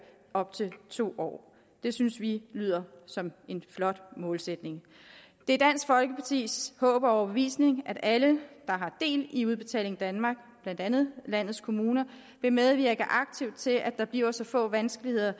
op til to år det synes vi lyder som en flot målsætning det er dansk folkepartis håb og overbevisning at alle der har del i udbetaling danmark blandt andet landets kommuner vil medvirke aktivt til at der bliver så få vanskeligheder